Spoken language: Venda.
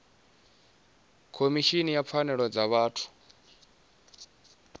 khomishini ya pfanelo dza vhathu